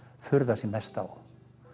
furða sig mest á